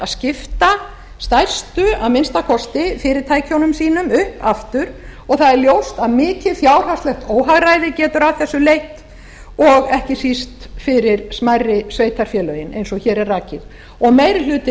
að skipta stærstu að minnsta kosti fyrirtækjunum sínum upp aftur og það er ljóst að mikið fjárhagslegt óhagræði getur af þessu leitt og ekki síst fyrir smærri sveitarfélögin eins og hér er rakið og meiri hlutinn